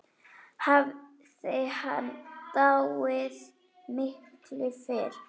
Hafði hann dáið miklu fyrr?